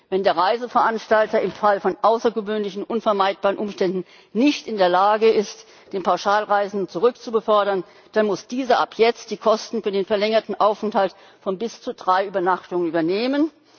Wenn der Reiseveranstalter im Fall von außergewöhnlichen unvermeidbaren Umständen nicht in der Lage ist, den Pauschalreisenden zurückzubefördern, dann muss dieser ab jetzt die Kosten für den verlängerten Aufenthalt von bis zu drei Übernachtungen übernehmen.